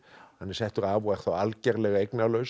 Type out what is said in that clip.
hann er settur af og er þá algerlega eignalaus